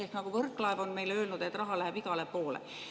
Ehk nagu Võrklaev on meile öelnud, raha läheb igale poole.